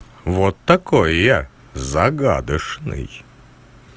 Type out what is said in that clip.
вот такой я загадочный